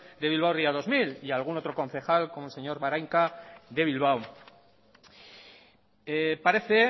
de bilbao ría dos mil y algún otro concejal como el señor barainka de bilbao parece